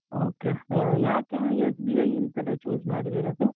Okay ಆ ಯಾಕೆ SBI ಅಂತಲೇ choose ಮಾಡಿದ್ದೀರಾ sir ?